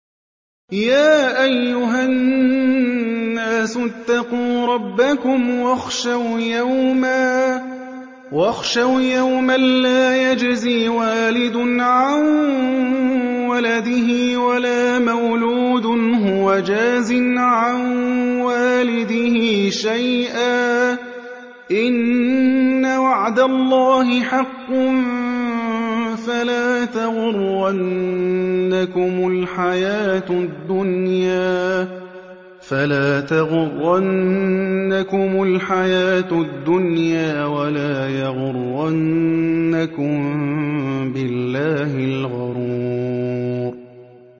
يَا أَيُّهَا النَّاسُ اتَّقُوا رَبَّكُمْ وَاخْشَوْا يَوْمًا لَّا يَجْزِي وَالِدٌ عَن وَلَدِهِ وَلَا مَوْلُودٌ هُوَ جَازٍ عَن وَالِدِهِ شَيْئًا ۚ إِنَّ وَعْدَ اللَّهِ حَقٌّ ۖ فَلَا تَغُرَّنَّكُمُ الْحَيَاةُ الدُّنْيَا وَلَا يَغُرَّنَّكُم بِاللَّهِ الْغَرُورُ